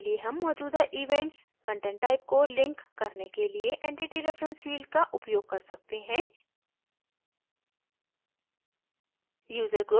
इसके लिए हम मौजूदा events content type को link करने के लिए entity reference field का उपयोग कर सकते हैं